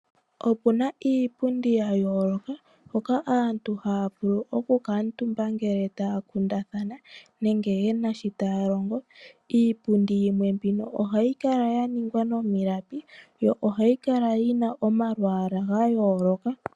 Opuna iipundi ya yooloka hoka aantu haya vulu oku kuutumba ngele taya kundathana nenge ye na shi taya longo. Iipundi mbino ohayi kala ya ningwa momalapi yo 9hayi kala yina omalwaala ga yooloka.